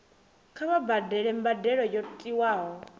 kha vha badele mbadelo yo tiwaho